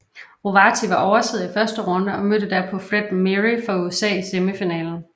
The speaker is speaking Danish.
Rovati var oversidder i første runde og mødte derpå Fred Meary fra USA i semifinalen